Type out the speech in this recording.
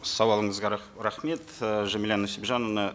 сауалыңызға рахмет і жамиля нусипжановна